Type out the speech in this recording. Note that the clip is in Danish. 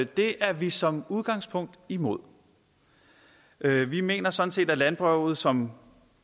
det er vi som udgangspunkt imod vi mener sådan set at landbruget som